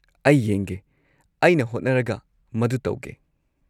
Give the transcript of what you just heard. ꯑꯩ ꯌꯦꯡꯒꯦ, ꯑꯩꯅ ꯍꯣꯠꯅꯔꯒ ꯃꯗꯨ ꯇꯧꯒꯦ꯫